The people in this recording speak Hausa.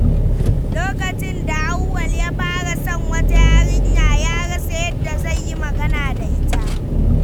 Lokacin da Auwal ya fara son wata yarinya, ya rasa yadda zai yi magana da ita.